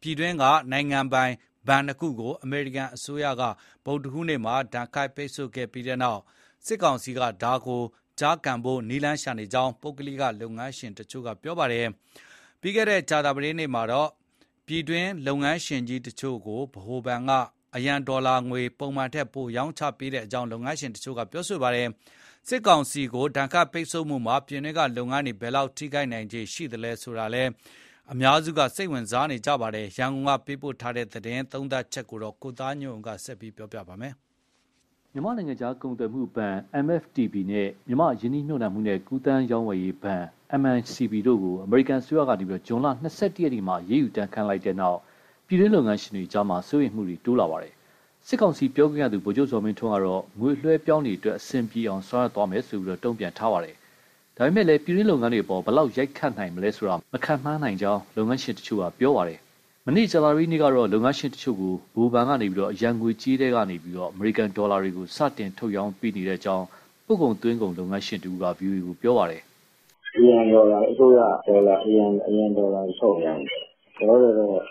ပြည်တွင်း နိုင်ငံပိုင်ဘဏ်နှစ်ခုကို ဒဏ်ခတ်ပိတ်ဆို့မှု အမေရိကန်အစိုးရက ကြေညာခဲ့တဲ့နောက်၊ စစ်ကောင်စီဟာ ကြုံလာနိုင်တဲ့အကျပ်အတည်းကိုဖြေရှင်းဖို့ နည်းလမ်းရှာနေကြောင်း ပုဂ္ဂလိက လုပ်ငန်းရှင်တွေက ပြောပါတယ်။ အခုနောက်ဆုံးအမေရိကန်ရဲ့ စီးပွားရေးဒဏ်ခတ်မှုကြောင့် ပြည်တွင်းလုပ်ငန်းတွေ ဘယ်လောက်အထိနာနိုင်နိုင်သလဲဆိုတာ ရန်ကုန်က သတင်းပေးပို့ချက် ကိုသားညွန့်ဦး ပြောပြပါမယ်။ မြန်မာ့ နိုင်ငံခြားကုန်သွယ်မှုဘဏ် MFTB နဲ့ မြန်မာ့ ရင်းနှီးမြှုပ်နှံမှုနဲ့ ကူးသန်းရောင်းဝယ်ရေးဘဏ် MICB တို့ကို အမေရိကန်အစိုးရက ဇွန်လ၂၁ရက်မှာ အရေးယူဒဏ်ခတ်လိုက်တဲ့နောက် ပြည်တွင်း လုပ်ငန်းရှင်တွေအကြား စိုးရိမ်မှုရှိလာပါတယ်။ စစ်ကောင်စီပြောခွင့်ရ ဗိုလ်ချုပ်ဇော်မင်းထွန်းကတော့ ငွေအလွှဲအပြောင်းတွေအတွက် အဆင်ပြေအောင် ဆောင်ရွက်သွားမယ်လို့ တုံ့ပြန်ထားပါတယ်။ ဒါပေမဲ့ ပြည်တွင်း လုပ်ငန်းတွေအပေါ် ဘယ်လောက် ရိုက်ခတ်နိုင်မလဲဆိုတာ မခန့်မှန်းနိုင်ကြောင်း လုပ်ငန်းရှင်တချို့က ပြောပါတယ်။ မနေ့ ကြာသပတေးနေ့ကတော့ လုပ်ငန်းရှင်ကြီးတချို့ကို ဗဟိုဘဏ်က အရန်ငွေကြေးထဲက အမေရိကန်ဒေါ်လာတွေကို စတင်ထုတ်ရောင်းပေးနေကြောင်း ပို့ကုန်၊ သွင်းကုန် လုပ်ငန်းရှင်တဦးက ဗွီအိုအေကို ပြောပါတယ်။ " အရန်ဒေါ်လာတွေ အစိုးရက ထုတ်ရောင်းနေတယ်။ လောလောဆယ်တော့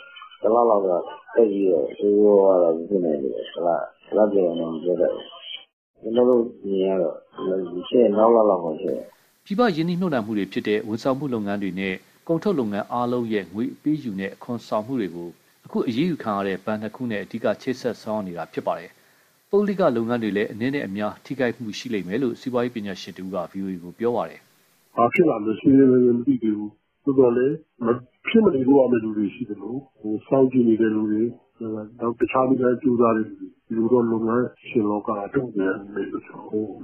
တလလောက်တော့ သိပ်ပြီးတော့ ဆိုးဆိုးဝါးဝါးတော့ မဖြစ်နိုင်သေးပါဘူး။ တလကျော်ရင်တော့ မပြောတတ်ဘူး။ ကျနော်တို့ အမြင်ကတော့ ဖြစ်ရင် နောက်လလောက်မှ ဖြစ်မယ်။" ပြည်ပ ရင်နှီးမြှုပ်နှံမှုတွေဖြစ်တဲ့ ဝန်ဆောင်မှုလုပ်ငန်းတွေနဲ့ ကုန်ထုတ်လုပ်ငန်းအားလုံးရဲ့ ငွေအပေးအယူနဲ့ အခွန်ဆောင်တာတွေကို အခု အရေးယူခံရတဲ့ ဘဏ်နှစ်ခုနဲ့ အဓိက ချိတ်ဆက်ထားတာပါ။ ပုဂ္ဂလိက လုပ်ငန်းတွေလည်း အနည်းနဲ့ အများကတော့ ထိခိုက်လိမ့်မယ်လို့ စီးပွားရေးပညာရှင်တဦးက ဗွီအိုအေကို ပြောပါတယ်။ " ဘာဖြစ်လာမလဲ ရှင်းရှင်းလင်းလင်း မသိသေးဘူး။ သို့သော်လည်း မဖြစ်မနေလုပ်ရမဲ့သူတွေ ရှိသလို စောင့်ကြည့်နေတဲ့သူတွေ တခြားနည်းလမ်း ကြိုးစားတဲ့သူတွေ ဒီလိုတော့ လုပ်ငန်းရှင်လောက က တုံ့ပြန်မယ်လို့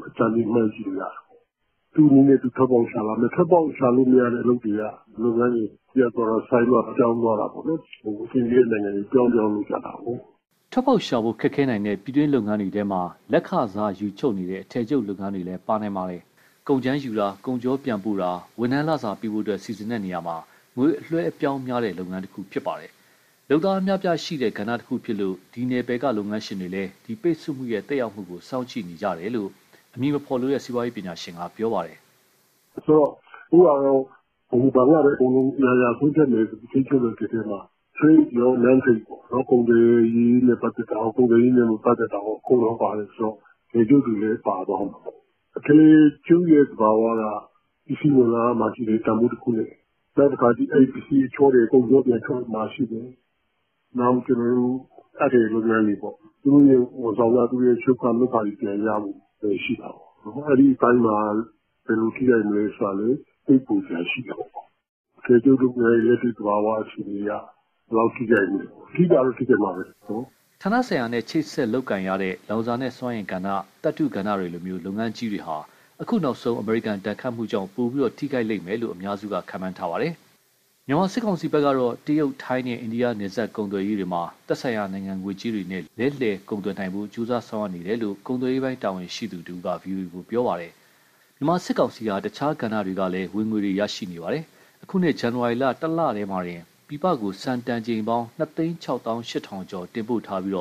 အကြမ်းဖျဥ◌် မှန်းကြည့်လို့ရတယ်။ သူ့နည်းနဲ့သူ ထွက်ပေါက်ရှာလာမယ်။ ထွက်ပေါက်ရှာလို့မရတဲ့ အလုပ်တွေက လုပ်ငန်းတွေ ရပ်သွားတာ၊ ဆိုင်းသွားတာ၊ ပြောင်းသွားတာပေါ့နော်။ အဆင်ပြေတဲ့နိုင်ငံတွေဆီ ပြောင်းပြောင်း လုပ်ကြတာကိုး။" ထွက်ပေါက်ရှာဖို့ ခက်ခဲနိုင်တဲ့ ပြည်တွင်းလုပ်ငန်းတွေထဲမှာ လက်ခစားယူ ချုပ်နေတဲ့ အထည်ချုပ်လုပ်ငန်းတွေလည်း ပါနိုင်ပါတယ်။ ကုန်ကြမ်းယူတာ၊ ကုန်ချောပြန်ပို့တာ၊ ဝန်ထမ်းလစာပေးဖို့ စီစဉ်တာမှာ ငွေအလွှဲအပြောင်းများတဲ့ လုပ်ငန်းတခုဖြစ်ပါတယ်။ လုပ်သား အများအပြားရှိနေတဲ့ ကဏ္ဍတခုဖြစ်လို့ ဒီနယ်ပယ်က လုပ်ငန်းရှင်တွေလည်း ဒီပိတ်ဆို့မှုရဲ့ သက်ရောက်မှုကို စောင့်ကြည့်နေတယ်လို့ အမည်မဖော်လိုတဲ့ စီးပွားရေးပညာရှင်က ပြောပါတယ်။ "ဆိုတော့ အခုဟာက ဗဟိုဘဏ်ကပဲ အရာရာဆုံးဖြတ်မယ်ဆိုပြီး ထိန်းချုပ်လိုက်တဲ့အထဲမှာ Trade ရော Non-trade ရောပေါ့။ ကုန်သွယ်ရေးနဲ့ ပတ်သက်တာရော၊ မပတ်သက်တာရော နှစ်ခုလုံး ပါတယ်ဆိုတော့ အထည်ချုပ်တွေလည်း ပါသွားမှာပေါ့။ အထည်ချုပ်ရဲ့ သဘာဝက ပစ္စည်းဝင်လာရမှာရှိတယ် တန်ဖိုးတခုနဲ့။ နောက်တခါ အဲဒီပစ္စည်းအချောထည် ကုန်ချောပြန်ထွက်မှာ ရှိတယ်။ နောက် အပ်ထည်လုပ်ငန်းတွေပေါ့။ သူတို့ရဲ့ ဝန်ဆောင်ခ၊ ချုပ်ခ၊ လုပ်ခတွေ ပြန်ရဖို့လည်း ရှိတာပေါ့။ အဲဒီအပိုင်းမှာ ဘယ်လိုထိခိုက်မလဲ ဆိုတာလည်း စိတ်ပူစရာ ရှိတယ်ပေါ့။ အထည်ချုပ်လုပ်ငန်းရဲ့ လက်တွေ့သဘာဝ အခြေအနေအရ ဘယ်လောက်အထိ ရိုက်မလဲပေါ့။ ထိတာကတော့ ထိခိုက်မှာပဲ။" ဌာနဆိုင်ရာနဲ့ ချိတ်ဆက်လုပ်ကိုင်ရတဲ့ လောင်စာနဲ့ စွမ်းအင်ကဏ္ဍ၊ သတ္ထုကဏ္ဍတွေလို လုပ်ငန်းကြီးတွေဟာ အခုနောက်ဆုံးအမေရိကန်ဒဏ်ခတ်မှုကြောင့် ပိုပြီးထိခိုက်လိမ့်မယ်လို့ အများစုက ခန့်မှန်းပါတယ်။ မြန်မာစစ်ကောင်စီဖက်ကတော့ တရုတ်၊ ထိုင်းနဲ့ အိန္ဒိယ နယ်စပ်ကုန်သွယ်ရေးတွေမှာ သက်ဆိုင်ရာနိုင်ငံငွေကြေးတွေနဲ့ လဲလှယ်ကုန်သွယ်နိုင်ဖို့ ကြိုးစားဆောင်ရွက်နေတယ်လို့ ကုန်သွယ်ရေးပိုင်းတာဝန်ရှိသူက ဗွီအိုအေကို ပြောပါတယ်။ မြန်မာစစ်ကောင်စီဟာ တခြားကဏ္ဍတွေကလည်း ဝင်ငွေရရှိနေပါတယ်။ အခုနှစ် ဇန်နဝါရီလ တလတည်းမှာတင် ပြည်ပကိုဆန်တန်ချိန်ပေါင်း ၂၆၈,၀၀၀ ကျော် တင်ပို့ထားပြီး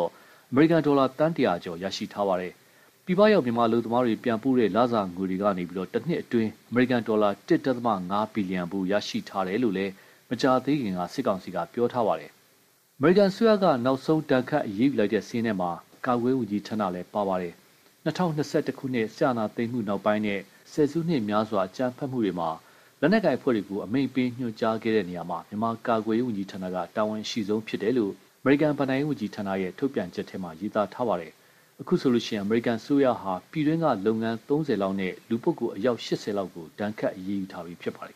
အမေရိကန်ဒေါ်လာ သန်း၁၀၀ကျော် ရရှိထားပါတယ်။ ပြည်ပရောက် မြန်မာအလုပ်သမားတွေ ပြန်ပို့တဲ့ လစာငွေတွေကနေ တနှစ်အတွင်းမှာ အမေရိကန်ဒေါ်လာ ၁ ဒသမ ၅ဘီလီယံဖိုး ရရှိထားတယ်လို့လည် မကြာသေးခင်က စစ်ကောင်စီက ပြောထားပါတယ်။ အမေရိကန်အစိုးရက နောက်ဆုံး ဒဏ်ခတ်အရေးယူလိုက်တဲ့ စာရင်းထဲမှာ မြန်မာ ကာကွယ်ရေးဝန်ကြီးဌာနလည်း ပါပါတယ်။ ၂၀၂၁ အာဏာသိမ်းမှုနောက်ပိုင်းနဲ့ ဆယ်စုနှစ်များစွာ အကြမ်းဖက်မှုတွေကို လုပ်ဆောင်ခဲ့တဲ့ လက်နက်ကိုင် အဖွဲ့တွေကို အမိန့်ပေး၊ ညွှန်ကြားခဲ့တာမှာ မြန်မာကာကွယ်ရေး ဝန်ကြီးဌာနက တာဝန်အရှိဆုံးဖြစ်တယ်လို့ အမေရိကန် ဘဏ္ဍာရေးဝန်ကြီးဌာနရဲ့ မနေ့က ထုတ်ပြန်ချက်မှာ ရေးသားထားတာပါ။ အခုဆိုရင် အမေရိကန်အစိုးရဟာ ပြည်တွင်းက လုပ်ငန်း၃၀လောက်နဲ့ လူပုဂ္ဂိုလ် အယောက်၈၀လောက်ကို ဒဏ်ခတ်အရေးယူထားပြီး ဖြစ်ပါတယ်